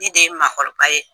Ne de ye makɔrɔ ye